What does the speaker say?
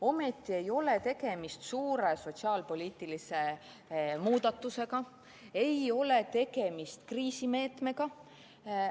Ometi ei ole tegemist suure sotsiaalpoliitilise muudatusega, ei ole tegemist kriisimeetmega.